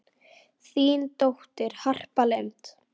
Þín dóttir, Harpa Lind.